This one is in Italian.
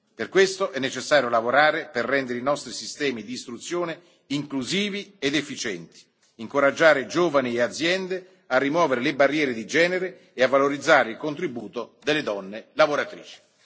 Per questo è necessario lavorare per rendere i nostri sistemi di istruzione inclusivi ed efficienti, nonché incoraggiare i giovani e le aziende a rimuovere le barriere di genere e a valorizzare il contributo delle donne lavoratrici.